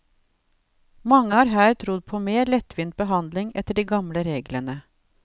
Mange har her trodd på mer lettvint behandling etter de gamle reglene.